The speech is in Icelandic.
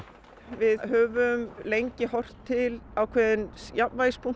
við höfum lengi horft til ákveðins